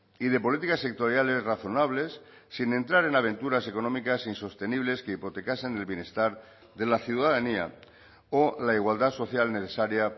y de políticas sectoriales razonables sin entrar en aventuras económicas insostenibles que hipotecasen el bienestar de la ciudadanía o la igualdad social necesaria